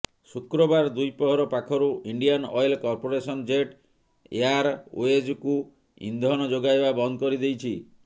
ଶୁକ୍ରବାର ଦ୍ୱିପ୍ରହର ପାଖରୁ ଇଣ୍ଡିଆନ୍ ଅଏଲ କର୍ପୋରେସନ ଜେଟ୍ ଏୟାରୱେଜ୍କୁ ଇନ୍ଧନ ଯୋଗାଇବା ବନ୍ଦ କରିଦେଇଛି